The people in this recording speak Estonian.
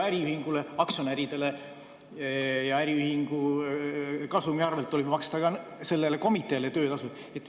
Äriühingu aktsionäride ja kasumi arvelt tuleb ju maksta ka sellele komiteele töötasud.